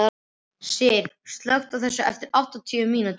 Styr, slökktu á þessu eftir áttatíu mínútur.